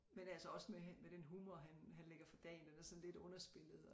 Men altså også med med den humor han han lægger for dagen den er sådan lidt underspillet